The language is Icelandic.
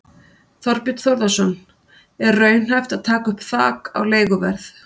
Þorbjörn Þórðarson: Er raunhæft að taka upp þak á leiguverð?